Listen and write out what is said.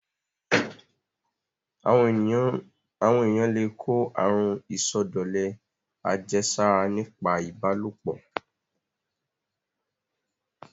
Àwọn èyàn le kó àrun ìsọdọ̀lẹ àjẹsára nípa ìbálòpọ̀.